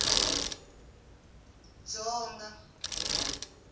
dzonga